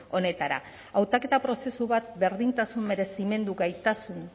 honetara hautaketa prozesu bat berdintasun merezimendu gaitasun